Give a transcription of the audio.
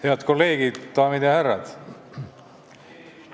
Head kolleegid, daamid ja härrad!